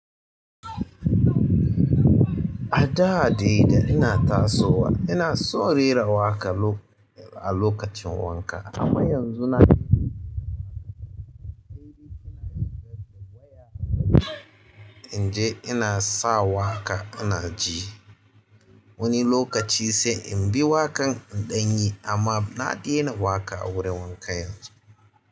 A da dai da ina tasowa ina son rera waƙa loka a lokacin wanka amma yanzu na daina in je ina sa waƙa ina ji wani lokaci sai in bi waƙan in ɗanyi amma na ɗena waƙa a wurin wanka yanzu.